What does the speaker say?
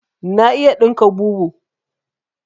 Na iya ɗinka bubu